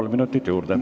Kolm minutit juurde.